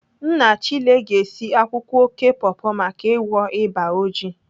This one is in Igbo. Nna Chile ga-esi akwụkwọ oké pọpọ maka ịgwọ ịba oji